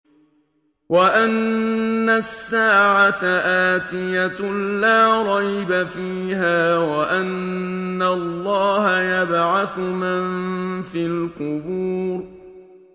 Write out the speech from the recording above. وَأَنَّ السَّاعَةَ آتِيَةٌ لَّا رَيْبَ فِيهَا وَأَنَّ اللَّهَ يَبْعَثُ مَن فِي الْقُبُورِ